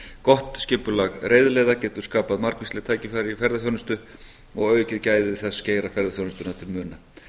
gott skipulag reiðleiða getur skapað margvísleg tækifæri í ferðaþjónustu og aukið gæði þess geira ferðaþjónustunnar til muna